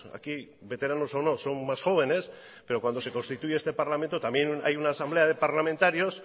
aquí veteranos o no son más jóvenes pero cuando se constituye este parlamento también hay una asamblea de parlamentarios